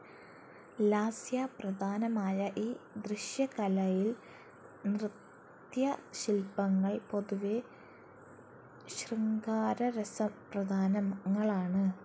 ലാസ്യ പ്രധാനമായ ഈ ദൃശ്യകലയിൽ നൃത്യശില്പങ്ങൾ പൊതുവെ ശൃംഗാരരസ പ്രധാനങ്ങളാണ്.